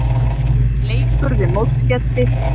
Blíðan leikur við mótsgesti